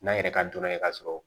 N'an yɛrɛ ka dɔnna ye ka sɔrɔ